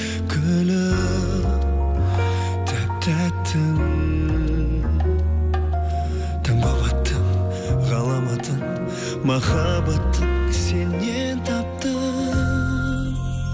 гүлім тәп тәттім таң болып аттың ғаламатты махаббатты сеннен таптым